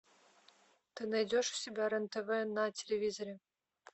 ты найдешь у себя рен тв на телевизоре